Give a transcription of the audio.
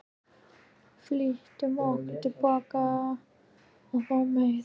Flýttum okkur tilbaka að fá meir.